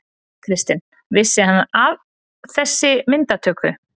Kristinn: Vissi hann af þessi myndatöku?